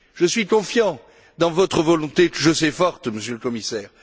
Je suis confiant dans votre volonté, que je sais forte, Monsieur le Commissaire.